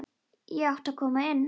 Ég átti að koma inn!